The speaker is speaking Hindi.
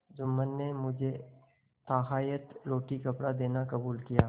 जुम्मन ने मुझे ताहयात रोटीकपड़ा देना कबूल किया